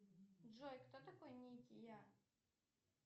джой кто такой никки я